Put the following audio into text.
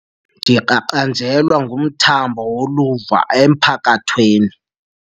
Ndiqaqanjelwa ngumthambo woluvo emphakathweni.